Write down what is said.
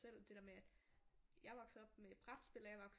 Selv det der med at jeg er vokset op med brætspil og jeg er vokset op